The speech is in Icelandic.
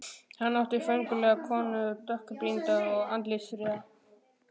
Hann átti föngulega konu, dökkbrýnda og andlitsfríða.